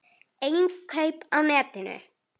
Innkaup á netinu?